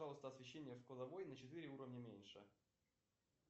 пожалуйста освещение в кладовой на четыре уровня меньше